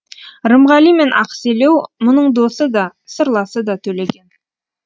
рымғали мен ақселеу мұның досы да сырласы да төлеген